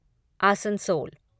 Asansol